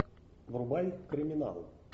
врубай криминал